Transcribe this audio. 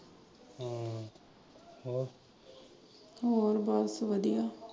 ਹੋਰ ਬਸ ਵਧੀਆ।